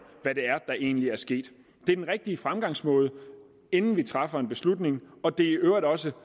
hvad det er der egentlig er sket det er den rigtige fremgangsmåde inden vi træffer en beslutning og det er i øvrigt også